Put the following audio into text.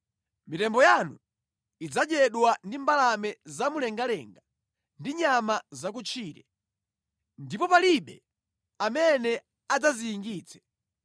Mitembo yanu idzadyedwa ndi mbalame zamumlengalenga ndi nyama zakutchire, ndipo palibe amene adzaziyingitse.